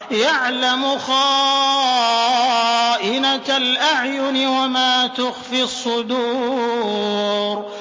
يَعْلَمُ خَائِنَةَ الْأَعْيُنِ وَمَا تُخْفِي الصُّدُورُ